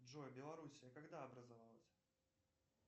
джой белоруссия когда образовалась